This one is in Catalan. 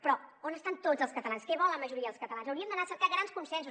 però on estan tots els catalans què vol la majoria dels catalans hauríem d’anar a cercar grans consensos